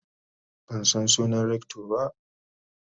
man San sunan Rector ba.